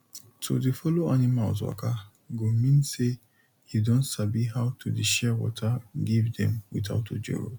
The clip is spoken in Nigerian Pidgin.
to dey follow animals waka go mean say you don sabi how to dey share water give dem without ojoro